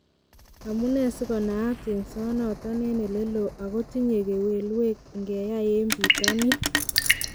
Amunee si konaat yengsonoton en oleloo ago tinye gewelwek ingenyai en pitonin.